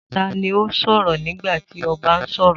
Ta ni ó sọ̀rọ̀ nígbà tí ọba ń sọ̀rọ̀?